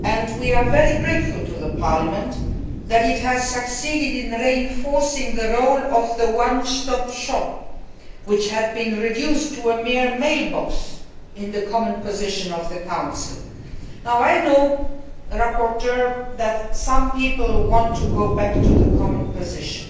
We are very grateful to Parliament in that it has succeeded in reinforcing the role of the one stop shop, which had been reduced to a mere mail box in the common position of the Council. I know, rapporteur, that some people want to go back to the common position.